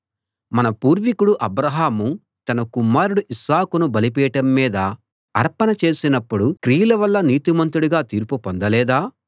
మన పూర్వికుడు అబ్రాహాము తన కుమారుడు ఇస్సాకును బలిపీఠం మీద అర్పణ చేసినప్పుడు క్రియల వల్ల నీతిమంతుడుగా తీర్పు పొందలేదా